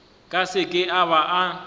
ka seke a ba a